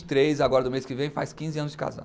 três, agora do mês que vem, faz quinze anos de casado.